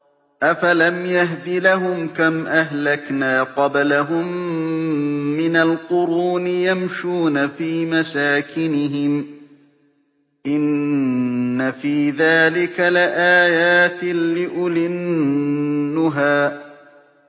أَفَلَمْ يَهْدِ لَهُمْ كَمْ أَهْلَكْنَا قَبْلَهُم مِّنَ الْقُرُونِ يَمْشُونَ فِي مَسَاكِنِهِمْ ۗ إِنَّ فِي ذَٰلِكَ لَآيَاتٍ لِّأُولِي النُّهَىٰ